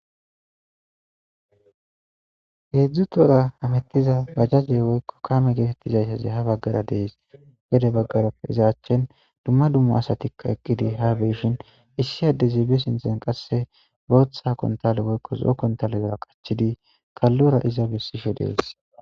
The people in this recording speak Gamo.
heedzdzu toora hamettiza gajjaze woykko kame geetettizayshazi ha baggara dees gede baggarappe izaachchen dumma dummu asatikka eqqidi ha beeshin issi adeziibe sinten qasse booththa kontale woykko zo7o kontale gera qachchidi kallora iza bessishe dees